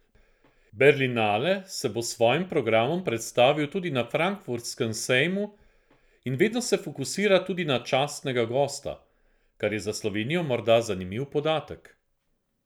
Berlinale se bo s svojim programom predstavil tudi na frankfurtskem sejmu in vedno se fokusira tudi na častnega gosta, kar je za Slovenijo morda zanimiv podatek.